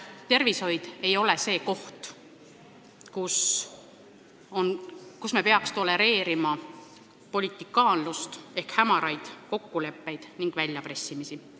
Tervishoid ei ole valdkond, kus me peaks tolereerima politikaanlust ehk hämaraid kokkuleppeid ning väljapressimist.